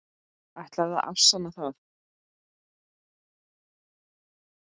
Ætlarðu að afsanna það?